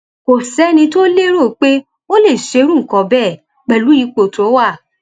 kò sẹni tó lérò pé ó lè ṣerú nǹkan bẹẹ pẹlú ipò tó wà